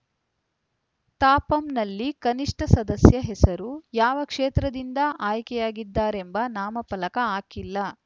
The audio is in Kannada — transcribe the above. ತಾಪಂನಲ್ಲಿ ಕನಿಷ್ಠ ಸದಸ್ಯರ ಹೆಸರು ಯಾವ ಕ್ಷೇತ್ರದಿಂದ ಆಯ್ಕೆಯಾಗಿದ್ದಾರೆಂಬ ನಾಮಫಲಕ ಹಾಕಿಲ್ಲ